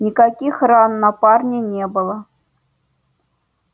никаких ран на парне не было